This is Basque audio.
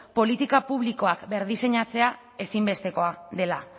politika publikoak berdiseinatzea ezinbestekoa dela